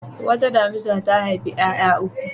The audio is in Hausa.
Wata damisa ta haifi ƴaƴa uku.